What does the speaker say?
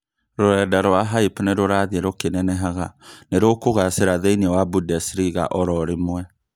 Rũrenda rwa Hype nĩrũrathiĩ rũkĩnenehaga nĩrũkũgacĩra thĩinĩ wa Bundesliga oro rĩmwe